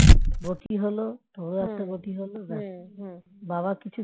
তোর ও একটা গতি হল ব্যস্ বাবা কিছু